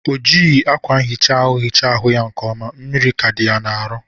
O jighi akwa ihicha ahụ hicha ahụ ya nke ọma: mmiri ka dị ya n'arụ.